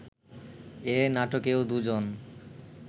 এ নাটকেও দুজন